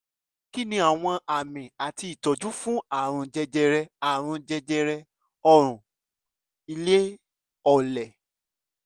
kí ni àwọn àmì àti ìtọ́jú fún àrùn jẹjẹrẹ àrùn jẹjẹrẹ ọrùn ilé ọlẹ̀?